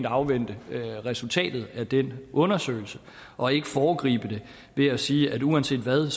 afvente resultatet af den undersøgelse og ikke foregribe det ved at sige at uanset hvad